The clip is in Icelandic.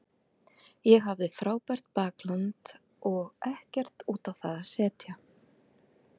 Ég hafði frábært bakland og ekkert út á það að setja.